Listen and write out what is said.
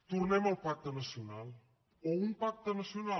tornem al pacte nacional o un pacte nacional